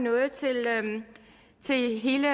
til hele